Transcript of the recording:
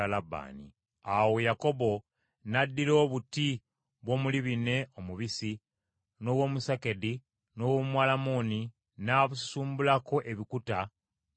Awo Yakobo n’addira obuti bw’omulibine omubisi, n’obw’omusakedi, n’obw’omwalamoni n’abususumbulako ebikuta mu bukuubo.